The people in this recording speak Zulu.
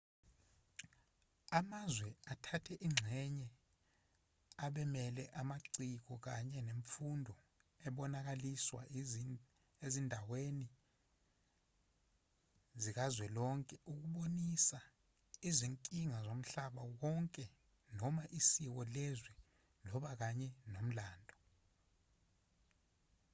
amazwe athathe ingxenye abemele amaciko kanye nemfundo ebonakaliswa ezindaweni zikazwelonke ukubonisa izinkinga zomhlaba wonke noma isiko lezwe labo kanye nomlando